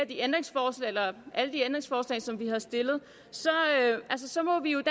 de ændringsforslag som vi har stillet så må vi jo i